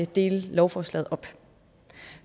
dele lovforslaget op